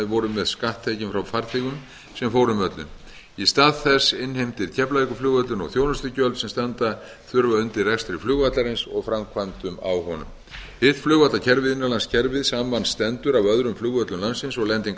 voru með skatttekjum frá farþegum sem fóru um völlinn í stað þess innheimtir keflavíkurflugvöllur nú þjónustugjöld sem standa þurfa undir rekstri flugvallarins og framkvæmdum á honum hitt flugvallakerfið innanlandskerfið samanstendur af öðrum flugvöllum landsins og lendingarstöðum